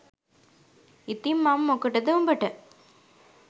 ඉතිං මං මොකටද උඹට